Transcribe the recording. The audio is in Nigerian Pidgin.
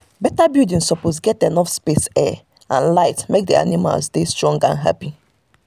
fowl wey dey do egg dey do egg during e time